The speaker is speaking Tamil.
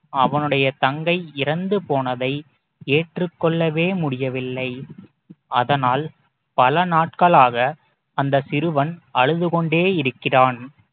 அவனுடைய தங்கை இறந்து போனதை ஏற்றுக் கொள்ளவே முடியவில்லை அதனால் பல நாட்களாக அந்த சிறுவன் அழுது கொண்டே இருக்கிறான்